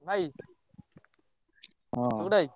ଭାଇ ସୁକୁଟା ଭାଇ।